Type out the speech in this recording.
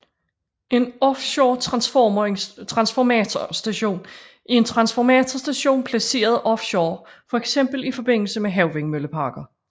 En offshoretransformatorstation er en transformatorstation placeret offshore fx i forbindelse med havvindmølleparker